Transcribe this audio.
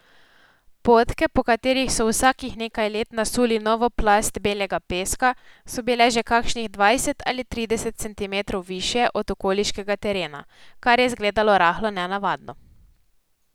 Potke, po katerih so vsakih nekaj let nasuli novo plast belega peska, so bile že kakšnih dvajset ali trideset centimetrov višje od okoliškega terena, kar je zgledalo rahlo nenavadno.